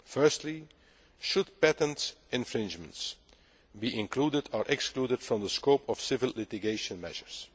open. Firstly, should patent infringements be included or excluded from the scope of civil litigation measures?